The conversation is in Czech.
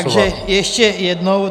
Takže ještě jednou.